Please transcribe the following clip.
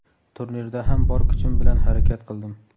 Turnirda ham bor kuchim bilan harakat qildim.